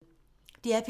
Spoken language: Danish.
DR P2